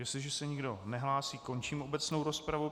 Jestliže se nikdo nehlásí, končím obecnou rozpravu.